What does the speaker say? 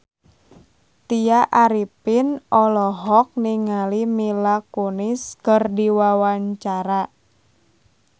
Tya Arifin olohok ningali Mila Kunis keur diwawancara